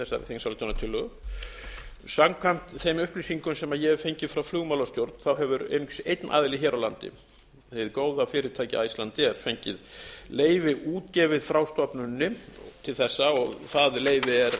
þingsályktunartillögu samkvæmt þeim upplýsingum sem ég hef fengið hjá flugmálastjórn hefur einungis einn aðili hér á landi hið góða fyrirtæki icelandair fengið leyfi útgefið frá stofnuninni til þessa og það leyfi er